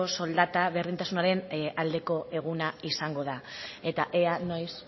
soldata berdintasunaren aldeko eguna izango da eta ea noiz